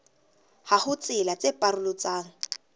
ha ho tsela tse paroletsang